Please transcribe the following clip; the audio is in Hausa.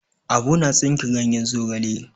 Abu na tsinke ganyen zogala.